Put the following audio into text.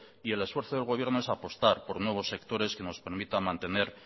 y el esfuerzo del gobierno es apostar por nuevos sectores que nos permitan mantener